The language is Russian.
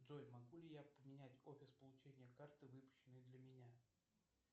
джой могу ли я поменять офис получения карты выпущенной для меня